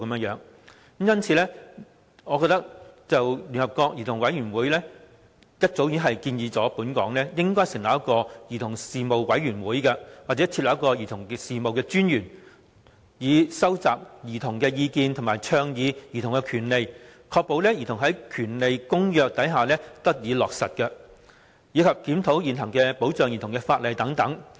就此，聯合國兒童權利委員會早已建議本港應成立"兒童事務委員會"或增設"兒童事務專員"，以收集兒童的意見及倡議兒童權利，確保《兒童權利公約》得以落實，以及檢討現行保障兒童的法例等。